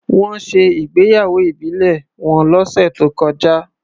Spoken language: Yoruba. Wọ́n ṣe ìgbéyàwó ìbílẹ̀ wọn lọ́sẹ̀ tó kọjá.